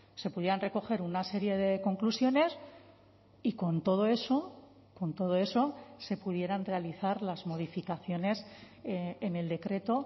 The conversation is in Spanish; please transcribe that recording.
se pudieran recoger una serie de conclusiones y con todo eso con todo eso se pudieran realizar las modificaciones en el decreto